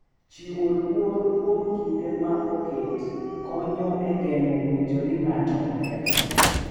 Chiwo luor kuom kinde ma oket konyo e geng’o winjo ni ng’ato okethore